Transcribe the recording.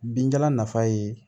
Binjalan nafa ye